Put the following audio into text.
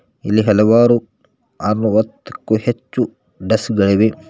ಇಲ್ಲಿ ಹಲವಾರು ಆರುವತ್ತು ಕ್ಕು ಹೆಚ್ಚು ಡೆಸ್ಕ್ ಗಳಿವೆ